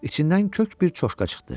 İçindən kök bir çoşka çıxdı.